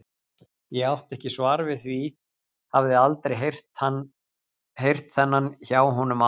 Ég átti ekki svar við því, hafði aldrei heyrt þennan hjá honum áður.